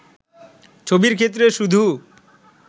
ছবির ক্ষেত্রে শুধু